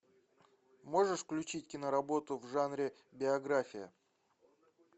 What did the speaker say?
можешь включить киноработу в жанре биография